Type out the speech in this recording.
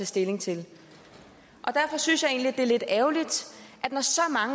stilling til derfor synes jeg egentlig det er lidt ærgerligt